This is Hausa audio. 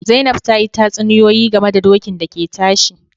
Zainab ta yi tatsuniyoyi game da dokin da ke tashi